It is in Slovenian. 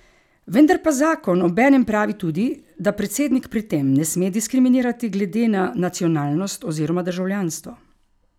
Vendar pa zakon obenem pravi tudi, da predsednik pri tem ne sme diskriminirati glede na nacionalnost oziroma državljanstvo.